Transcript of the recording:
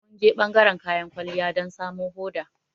Mun je ɓangaran kayan kwalliya don samo hoda.